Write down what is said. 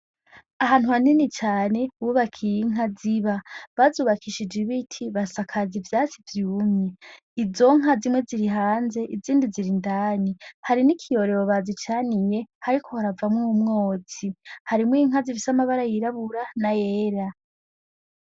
Ahantu hanini cane bubakiye inka ziba bahubakishije ibiti basakaza ivyatsi vyumye izo nka zimwe ziri hanze izindi ziri indani hari n'ikiyorero bazicaniye hariko haravamo umwotsi harimwo inka zifise amabara yirabura n'ayera.